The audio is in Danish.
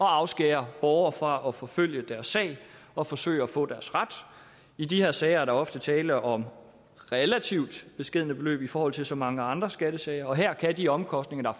afskære borgere fra at forfølge deres sag og forsøge at få deres ret i de her sager er der ofte tale om relativt beskedne beløb i forhold til så mange andre skattesager og her kan de omkostninger